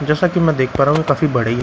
जैसा कि मैं देख पा रहा हूं ये काफी बड़ी--